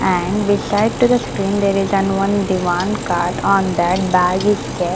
And beside to the screen there is an one diwan cart on that bag is kept.